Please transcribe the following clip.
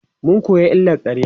mun koya illar ƙarya